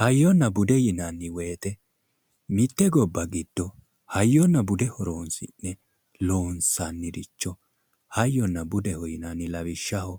Hayyonna bude yinanni woye, mitte gobba giddo hayyonna bude horonsi'ne loonsanniricho hayyonna budeho yinanni, lawishshaho,